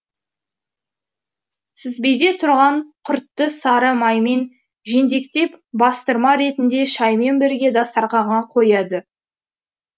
сүзбеде тұрған құртты сары маймен жентектеп бастырма ретінде шаймен бірге дастарқанға қояды